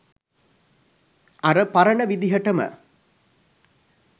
අර පරණ විදිහටම